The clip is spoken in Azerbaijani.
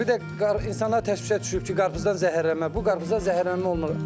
Bir də insanlar təşvişə düşüb ki, qarpızdan zəhərlənmə, bu qarpızdan zəhərlənmə olmur.